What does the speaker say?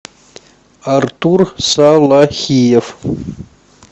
артур салахиев